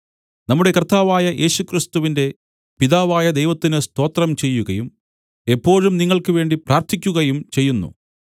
നമ്മുടെ കർത്താവായ യേശുക്രിസ്തുവിന്റെ പിതാവായ ദൈവത്തിന് സ്തോത്രം ചെയ്യുകയും എപ്പോഴും നിങ്ങൾക്ക് വേണ്ടി പ്രാർത്ഥിക്കുകയും ചെയ്യുന്നു